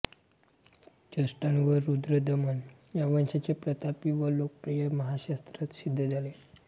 चस्टान व रुद्रदमन या वंशाचे प्रतापी व लोक प्रिय महाक्षत्रप सिद्ध झाले